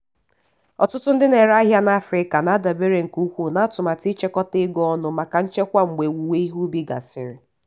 ọtụtụ ndị na-ere ahịa na afrịka na-adabere nke ukwuu na atụmatụ ichekwakọta ego ọnụ maka nchekwa mgbe owuwe ihe ubi gasịrị.